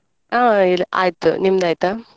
ಹ ಆಯ್ತು ನಿಮ್ದಾಯ್ತಾ?